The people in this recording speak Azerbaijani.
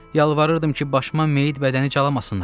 Yalvarırdım ki, başıma meyid bədəni calamasınlar.